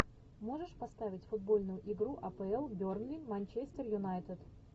можешь поставить футбольную игру апл берни манчестер юнайтед